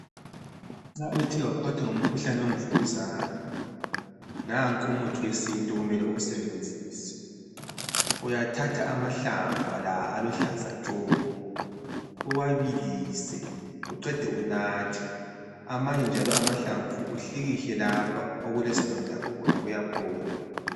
Nxa uthe waphathwa ngumkhuhlane wemvukuzane nanku umuthi wesintu okumele uwusebenzise uyathatha amahlamvu la aluhlaza tshoko uwabilise uqede unathe amanye njalo amahlamvu uhlikihle lapha okulesilonda khona kuyaphola.